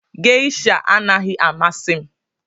Geisha anaghị amasị m